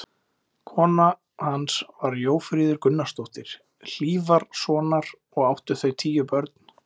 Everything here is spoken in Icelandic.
Kona hans var Jófríður Gunnarsdóttir Hlífarsonar, og áttu þau tíu börn.